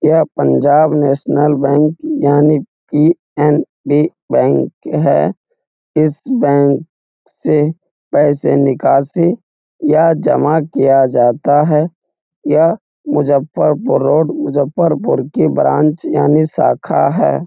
यह Punjab national bank यानी कि पी.ऐन.बी बैंक है इस बैंक से पैसे निकाले या जमा किया जाता है यह मुजफ्फरपुर रोड मुजफ्फरपुर की ब्रांच यानी शाखा है ।